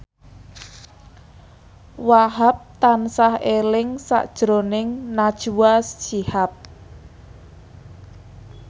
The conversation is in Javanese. Wahhab tansah eling sakjroning Najwa Shihab